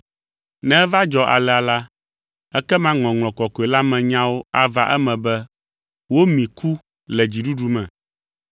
Ne eva dzɔ alea la, ekema Ŋɔŋlɔ Kɔkɔe la me nyawo ava eme be, “Womi ku le dziɖuɖu me.”